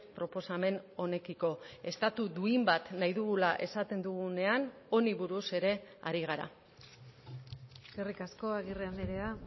proposamen honekiko estatu duin bat nahi dugula esaten dugunean honi buruz ere ari gara eskerrik asko agirre andrea